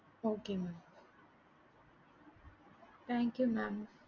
okay mam thank you mam